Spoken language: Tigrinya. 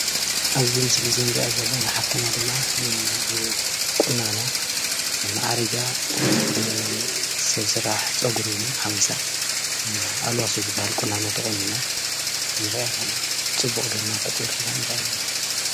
ኣብዚ ምስሊ እዚ እንሪአ ዘለና ሓፍትና ድማ ብቁናኖ ማዕሪጋ ሰብ ስራሕ ፀጉሪ እውን ሓዊሳ ኣልዋሶ ዝባሃል ቁናኖ ተቆኒና ንሪአ ኣለና፡፡ ፅቡቅ ግርማ ፎጢሩላ ንሪኣ ኣለና፡፡